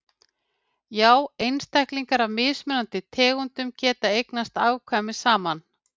Já einstaklingar af mismunandi tegundum geta eignast afkvæmi saman.